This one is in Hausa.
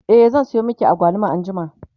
e zan Sayo maki agwaluma anjima